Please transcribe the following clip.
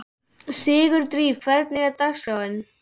Sigurdríf, hvernig er dagskráin?